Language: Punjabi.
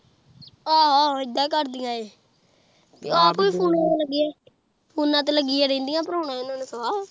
ਆਹ ਇੱਦਾਂ ਹੀਂ ਕਰਦੀਆ ਏਹ ਆਪ ਫੋਨਾਂ ਫੁਨਾ ਤੇ ਲੱਗਈਆ ਰਹਿੰਦੀਆ, ਪਰਾਉਣਾ ਓਹਨਾਂ ਨੇ ਸਵਾ